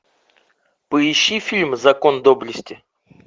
поищи фильм закон доблести